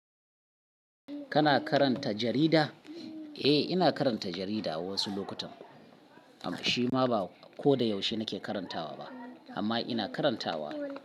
Kana karanta jarida? Eh, ina karanta jarida wasu lokutan, amma shima ba ko da yaushe nake karantawa ba. Amma ina karantawa.